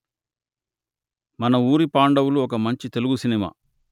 మన ఊరి పాండవులు ఒక మంచి తెలుగు సినిమా